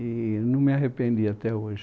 E não me arrependi até hoje.